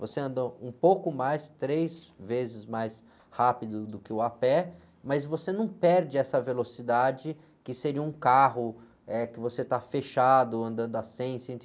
Você anda um pouco mais, três vezes mais rápido do que o a pé, mas você não perde essa velocidade que seria um carro, eh, que você está fechado, andando a cem, cento e...